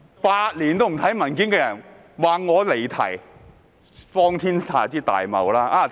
8年也不看文件的人竟說我離題，荒天下之大謬！